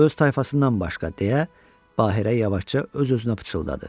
Öz tayfasından başqa, deyə Bahirə yavaşca öz-özünə pıçıldadı.